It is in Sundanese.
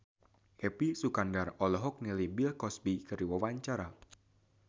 Epy Kusnandar olohok ningali Bill Cosby keur diwawancara